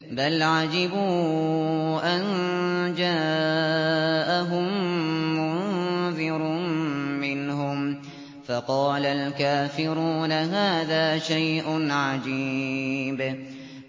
بَلْ عَجِبُوا أَن جَاءَهُم مُّنذِرٌ مِّنْهُمْ فَقَالَ الْكَافِرُونَ هَٰذَا شَيْءٌ عَجِيبٌ